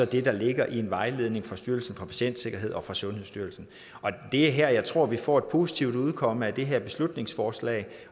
det der ligger i en vejledning fra styrelsen for patientsikkerhed og fra sundhedsstyrelsen og det er her jeg tror at vi får et positivt udkomme af det her beslutningsforslag